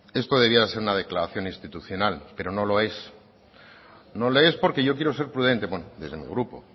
esto debiera de ser una declaración institucional pero no lo es no lo es porque yo quiero ser prudente bueno desde mi grupo